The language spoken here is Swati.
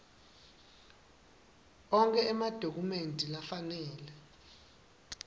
onkhe emadokhumenti lafanele